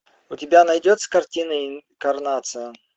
у тебя найдется картина реинкарнация